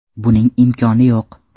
Buning imkoni yo‘q.